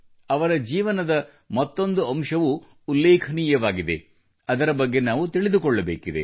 ಅವರ ಜೀವನದ ಮತ್ತೊಂದು ಅಂಶವೂ ಉಲ್ಲೇಖನೀಯವಾಗಿದೆ ಅದರ ಬಗ್ಗೆ ನಾವು ತಿಳಿದುಕೊಳ್ಳಬೇಕಿದೆ